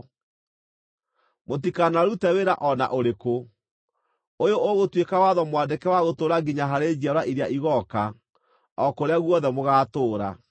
Mũtikanarute wĩra o na ũrĩkũ. Ũyũ ũgũtuĩka watho mwandĩke wa gũtũũra nginya harĩ njiarwa iria igooka, o kũrĩa guothe mũgaatũũra.